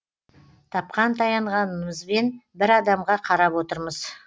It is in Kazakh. тапқан таянғанымызбен бір адамға қарап отырмыз